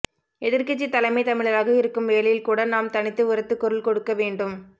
எதிர்க்கட்சித் தலைமை தமிழராக இருக்கும் வேளையில்கூட நாம் தனித்து உரத்து குரல் கொடுக்க வேண்டும்